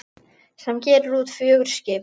sem gerir út fjögur skip.